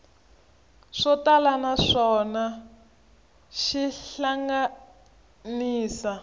swo tala naswona xi hlanganisa